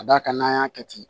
Ka d'a kan n'an y'a kɛ ten